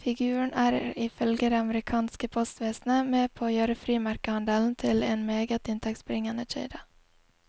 Figuren er ifølge det amerikanske postvesenet med på å gjøre frimerkehandelen til en meget inntektsbringende kilde.